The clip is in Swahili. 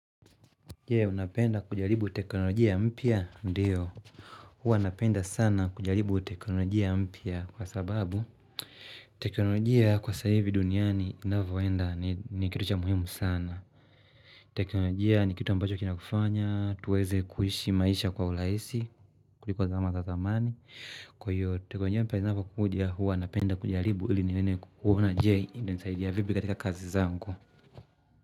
Je, unapenda kujaribu teknolojia mpya ndiyo. Huwa napenda sana kujaribu teknolojia mpya kwa sababu teknolojia kwa saa hii duniani inavoenda ni kitu cha muhimu sana. Teknolojia ni kitu ambacho kinakufanya, tuweze kuishi maisha kwa urahisi kuliko zama za zamani. Kwa hiyo, teknolojia mpya inavyokuja huwa napenda kujaribu iliniweze kuona je itanisaidia kivipi katika kazi zangu.